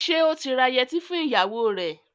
Ṣé ó ti ra yẹtí fún ìyàwó rẹ̀?